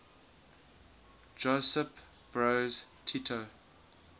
josip broz tito